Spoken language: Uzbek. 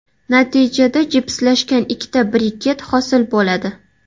Natijada jipslashgan ikkita briket hosil bo‘ladi.